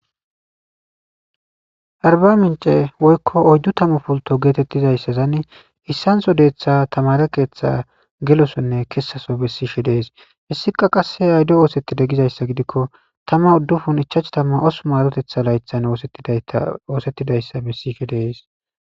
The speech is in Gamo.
Aribaminc'e woykon oydutamu pultto gettetizaysan issantho detha tamare keththa gellosonne kessaso bessishe dees. Heska qasse awude osetidi gizaysagidikko 1958maretetha laythan osetidaysa besishe de'es